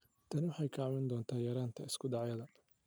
Tani waxay kaa caawin doontaa yaraynta isku dhacyada.